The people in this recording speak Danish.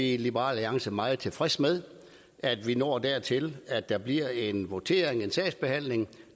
i liberal alliance meget tilfredse med at vi når dertil at der bliver en votering en sagsbehandling